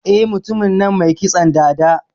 Eh, Mutumin nan mai kitson dada.